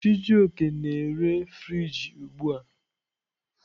Chijioke na-ere friji ugbu a.